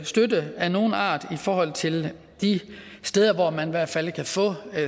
støtte af nogen art i forhold til de steder hvor man i hvert fald kan få